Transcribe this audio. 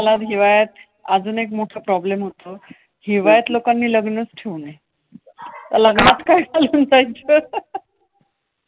मला हिवाळ्यात अजून एक मोठा problem होतो. हिवाळ्यात लोकांनी लग्नच ठेवू नये.